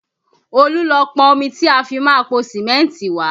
Olú lọ pọn omi tí a fi máa po Sìmẹ́ntì wá